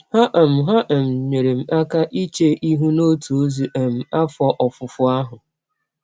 Ha um Ha um nyeere m aka iche ihụ n’ọtụ ọzi um afọ ọfụfọ ahụ.